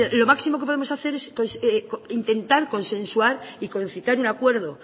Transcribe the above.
lo máximo que podemos hacer es intentar consensuar y concitar un acuerdo